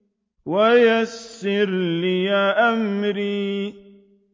وَيَسِّرْ لِي أَمْرِي